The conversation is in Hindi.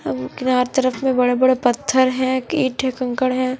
तरफ में बड़े-बड़े पत्थर है ईट कंकड़ हैं।